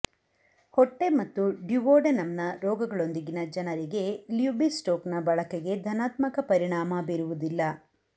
ಹೊಟ್ಟೆ ಮತ್ತು ಡ್ಯುವೋಡೆನಮ್ನ ರೋಗಗಳೊಂದಿಗಿನ ಜನರಿಗೆ ಲಿಯುಬಿಸ್ಟೋಕ್ನ ಬಳಕೆಗೆ ಧನಾತ್ಮಕ ಪರಿಣಾಮ ಬೀರುವುದಿಲ್ಲ